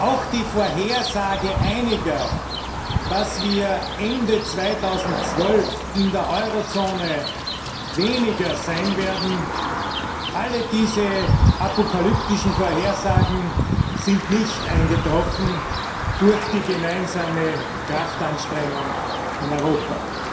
Auch die Vorhersage einiger, dass wir Ende 2012 in der Eurozone weniger sein werden, alle diese apokalyptischen Vorhersagen sind nicht eingetroffen dank der gemeinsamen Kraftanstrengung in Europa.